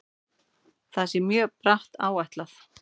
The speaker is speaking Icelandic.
Það sé mjög bratt áætlað.